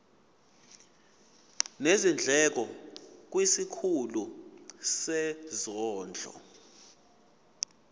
nezindleko kwisikhulu sezondlo